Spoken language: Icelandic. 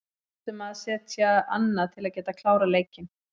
Við þurfum að setja annað til að geta klárað leikinn.